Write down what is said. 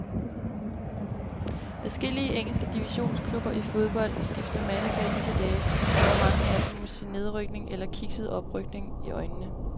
Adskillige engelske divisionsklubber i fodbold skifter manager i disse dage, hvor mange af dem må se nedrykning eller kikset oprykning i øjnene.